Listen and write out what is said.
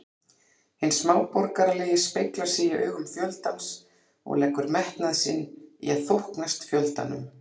Hinn smáborgaralegi speglar sig í augum fjöldans og leggur metnað sinn í að þóknast fjöldanum.